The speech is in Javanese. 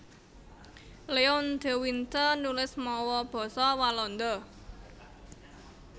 Leon de Winter nulis mawa basa Walanda